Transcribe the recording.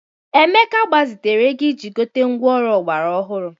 Emeka gbazitere ego iji gote ngwá ọrụ ọgbara ọhụrụ.